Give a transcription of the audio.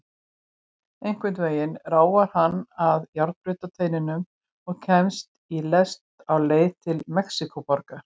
Einhvern veginn ráfar hann að járnbrautarteinum og kemst í lest á leið til Mexíkóborgar.